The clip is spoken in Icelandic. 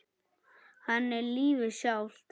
Hann er lífið sjálft.